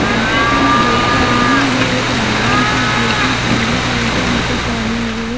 जैसा की देख पा रही हु ये एक रावण है जोकि पिले कलर का मकुट पहने हुए है।